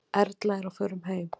Erla er á förum heim.